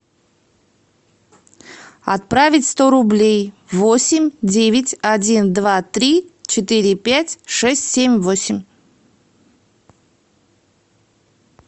отправить сто рублей восемь девять один два три четыре пять шесть семь восемь